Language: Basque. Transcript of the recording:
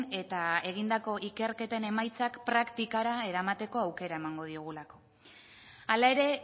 eta egindako ikerketen emaitzak praktikara eramateko aukera emango digulako hala ere